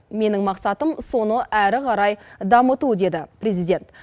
менің мақсатым соны әрі қарай дамыту деді президент